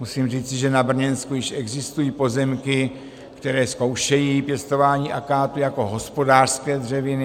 Musím říci, že na Brněnsku již existují pozemky, které zkoušejí pěstování akátu jako hospodářské dřeviny.